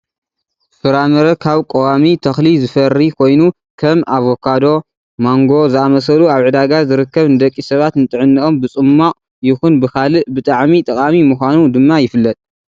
ፍራምረ ካብ ቆዋሚ ተክሊዝፈሪ ኮይኑ ከም ኣባካዶ፣ ማንጎ ዝኣምሰሉ ኣብ ዕዳጋ ዝርከብ ንደቂሰብ ንጥዕነኦም ብፅሟቅ ይኩን ብካልእ ብጣዕሚ ጠቃሚ ምኳኑ ድማ ይፍለጥ።